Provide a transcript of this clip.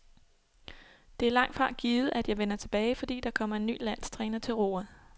Det er langtfra givet at jeg vender tilbage, fordi der kommer en ny landstræner til roret.